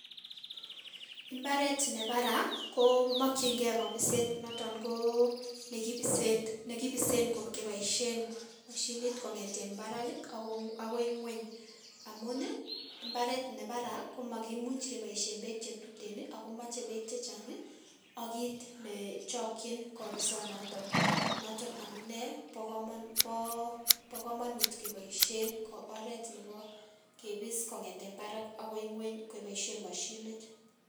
Imbaret nebaraa komokyingee kobiset noton konekibisen keboishen mashinit kong'eten barak akoi ngweny amun ii mbaret nebaraa komakimuch keboishen beek chetuten akomoche beek chechang okiit nechokyin kobisonoton, noton amunee bokomonut keboishen oreet neboo kibis kong'eten barak akoi ngweny keboishen mashinit.